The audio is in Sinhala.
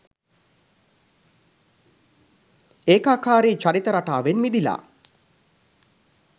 ඒකාකාරී චරිත රටාවෙන් මිදිලා